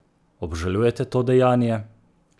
Obžalujete to dejanje?